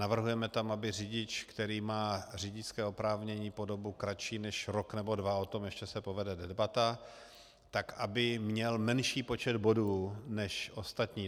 Navrhujeme tam, aby řidič, který má řidičské oprávnění po dobu kratší než rok nebo dva, o tom ještě se povede debata, tak aby měl menší počet bodů než ostatní.